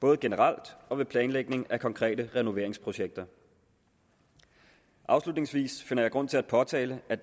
både generelt og ved planlægning af konkrete renoveringsprojekter afslutningsvis finder jeg grund til at påtale at